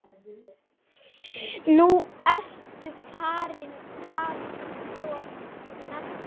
Nú ertu farin alltof snemma.